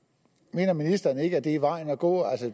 mener ministeren ikke at det er vejen at gå